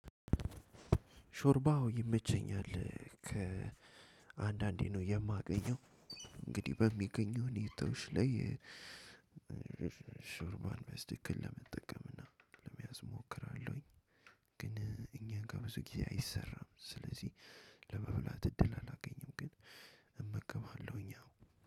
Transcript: ሾርባ አዎ ይመቸኛል ከአንዳንዴ ነው የማገኘው እንግዲህ በሚገኘው እኔ ሁኔታዎች ላይ። ሾርባን በስትክክል ለመጠቀም እና ለመያዝ እሞክራለሁ። ግን እኛ ጋር ብዙ ጊዜ አይሰራም ስለዚህ ለመብላት እድል አላገኘም። ግን እመገባለሁኝ አዎ።